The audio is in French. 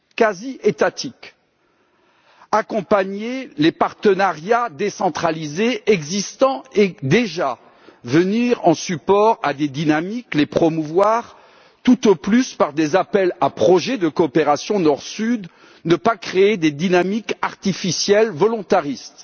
Il faut accompagner les partenariats décentralisés existants et venir en support à des dynamiques, les promouvoir, tout au plus par des appels à projets de coopération Nord Sud. Il ne faut pas créer des dynamiques artificielles volontaristes